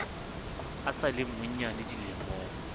a sa le monnyane dilemong